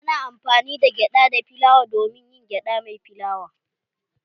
Ana amfani da gyada da filawa domin yin gyada mai filawa